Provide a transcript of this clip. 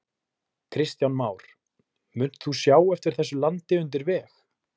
Kristján Már: Munt þú sjá eftir þessu landi undir veg?